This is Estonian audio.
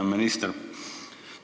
Hea minister!